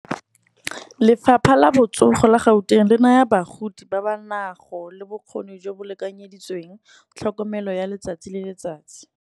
Lefapha la botsogo la Gauteng le naya bagodi ba ba nago le bokgoni, jo bo lekanyeditsweng tlhokomelo ya letsatsi le letsatsi.